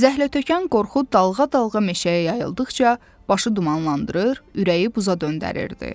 Zəhlətökən qorxu dalğa-dalğa meşəyə yayıldıqca başı dumanlandırır, ürəyi buza döndərirdi.